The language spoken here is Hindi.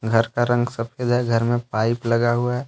घर का रंग सफेद है घर में पाइप लगा हुआ है।